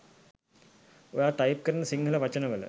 ඔයා ටයිප් කරන සිංහල වචන වල